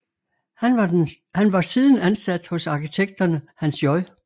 Han var siden ansat hos arkitekterne Hans J